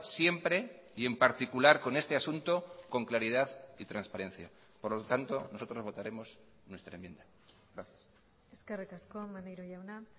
siempre y en particular con este asunto con claridad y transparencia por lo tanto nosotros votaremos nuestra enmienda gracias eskerrik asko maneiro jauna